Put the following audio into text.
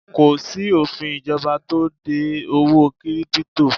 Kò sí òfin ìjọba tó de owó 'kírípútò'